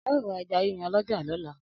ao ra eja yiyan l'oja lola